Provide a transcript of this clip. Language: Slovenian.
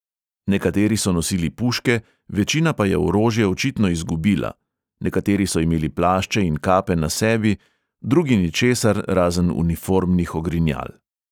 Nekateri so nosili puške, večina pa je orožje očitno izgubila; nekateri so imeli plašče in kape na sebi, drugi ničesar razen uniformnih ogrinjal.